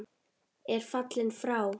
er fallinn frá.